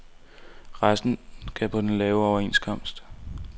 Resten skal på den lave overenskomst.